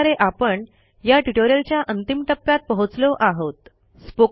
अशा प्रकारे आपण या ट्युटोरियलच्या अंतिम टप्प्यात पोहोचलो आहोत